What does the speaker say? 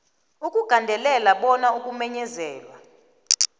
ukugandelela bona ukumenyezelwa